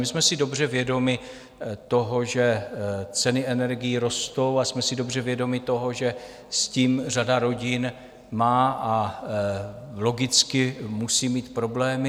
My jsme si dobře vědomi toho, že ceny energií rostou, a jsme si dobře vědomi toho, že s tím řada rodin má - a logicky musí mít - problémy.